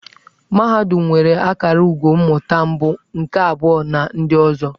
Mahadum nwere akara ugo mmụta mbụ, nke abụọ na ndị ọzọ.